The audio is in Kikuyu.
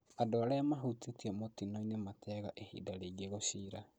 Andũ arĩa mahutĩtio mũtinoinĩ mateaga ihinda rĩingi gũciira